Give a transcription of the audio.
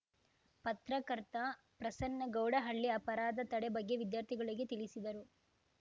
ಪತ್ರಕರ್ತ ಪ್ರಸನ್ನ ಗೌಡಹಳ್ಳಿ ಅಪರಾಧ ತಡೆ ಬಗ್ಗೆ ವಿದ್ಯಾರ್ಥಿಗಳಿಗೆ ತಿಳಿಸಿದರು